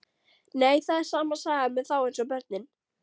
Nei, það er sama sagan með þá eins og börnin.